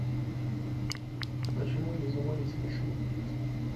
почему не заводится машина